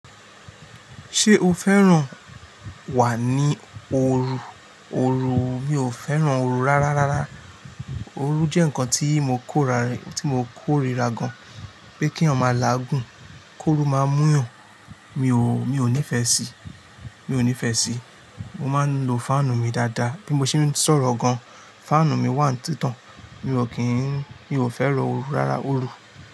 Ṣé o fẹ́ràn wà ní ooru? Ooru, mi ò fẹ́ràn ooru rárá. Ooru jẹ́ nǹkan tí mo kórìíra gan-an, pé kí èèyàn mọ làágùn, kóró máa mú'yàn. Mi ò, mi ò nífẹ̀ẹ́ síi, mi ò nífẹ̀ẹ́ síi. Mo máa ń lo fáànù mi dáadáa. Bí mo ṣe ń sọ̀rọ̀ gan-an, fáànù mi wà ní títàn. Mi ò kín, mi ò fẹ́ràn ooru rárá ooru.